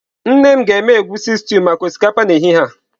Nne m ga-eme egusi stew maka osikapa n'ehihie a.